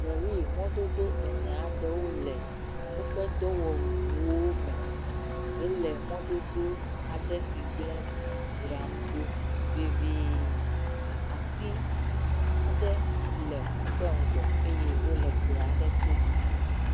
Lɔri mododo ene aɖewo le woƒe dɔwɔwuwo me hele mɔdodo aɖe si gblẽ dzram ɖo vevie, ati aɖe le woƒe ŋgɔ eye wole gbe aɖe to